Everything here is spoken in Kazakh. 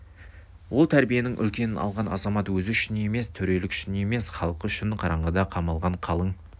ол тәрбиенің үлкенін алған азамат өзі үшін емес төрелік үшін емес халқы үшін қараңғыда қамалған қалың